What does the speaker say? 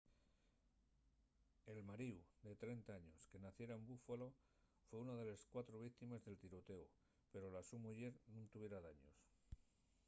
el maríu de 30 años que naciera en buffalo foi una de les cuatro víctimes del tirotéu pero la so muyer nun tuviera daños